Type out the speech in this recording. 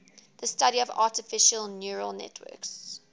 the study of artificial neural networks